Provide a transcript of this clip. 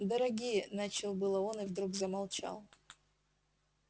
дорогие начал было он и вдруг замолчал